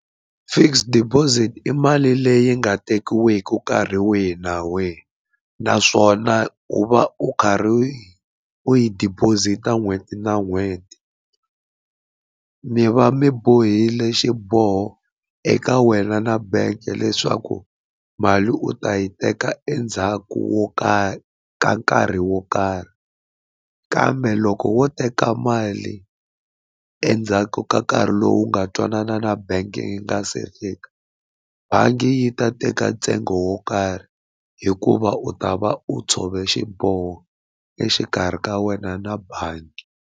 Fixed deposit i mali leyi nga tekiwiki nkarhi wihi na wihi naswona u va u karhi u yi u yi deposit-a n'hweti na n'hweti mi va mi bohile xiboho eka wena na bank leswaku mali u ta yi teka endzhaku wo ka ka nkarhi wo karhi kambe loko wo teka mali endzhaku ka nkarhi lowu nga twanana na bangi yi nga se fika bangi yi ta teka ntsengo wo karhi hikuva u ta va u tshove xiboho exikarhi ka wena na bangi.